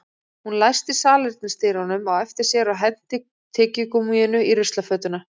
Hún læsti salernisdyrunum á eftir sér og henti tyggigúmmíinu í ruslakörfuna